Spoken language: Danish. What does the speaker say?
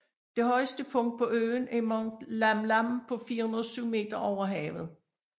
Det højeste punkt på øen er Mount Lamlam på 407 meter over havet